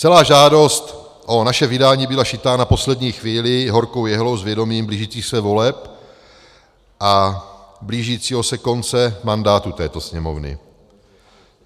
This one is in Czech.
Celá žádost o naše vydání byla šitá na poslední chvíli horkou jehlou s vědomím blížících se voleb a blížícího se konce mandátu této Sněmovny.